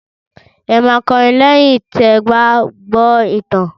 Ẹ máa kọrin lẹ́yìn tí ẹ gbá gbọ́ ìtàn!